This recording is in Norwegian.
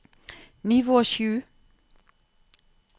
nivå sju